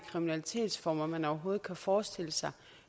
kriminalitetsformer man overhovedet kan forestille sig